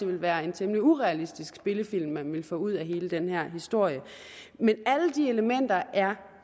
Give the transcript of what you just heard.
ville være en temmelig urealistisk spillefilm man ville få ud af hele den her historie men alle de elementer er